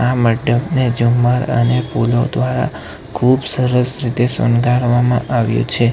આ મંડપને ઝુમ્મર અને ફૂલો દ્વારા ખુબ સરસ રીતે શણગારવામાં આવ્યું છે.